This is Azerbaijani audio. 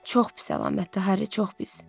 Çox pis əlamətdir Harry, çox pis.